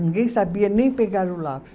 Ninguém sabia nem pegar o lápis.